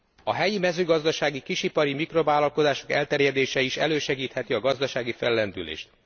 A helyi mezőgazdasági kisipari mikrovállalkozások elterjedése is elősegítheti a gazdasági fellendülést.